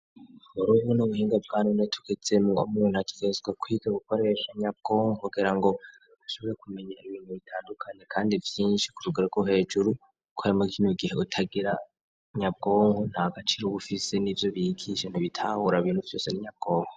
Urubo n'ubuhinge bwa none tugezemwo umuntu akigezwa kwiga ubukoresha nyabwonko kogera ngo ushoboye kumenya ibintu bitandukane, kandi vyinshi kurugrako hejuru, kuko ayamakime gihe utagera nyabwonko nta gaciro uwufise n'i vyo bigishe ntibitahura bintu vyose n'inyabwonko.